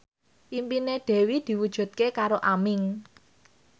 impine Dewi diwujudke karo Aming